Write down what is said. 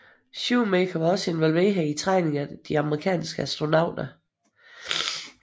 Shoemaker var også involveret i træning af de amerikanske astronauter